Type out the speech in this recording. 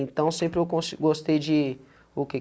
Então sempre eu gostei de... O que?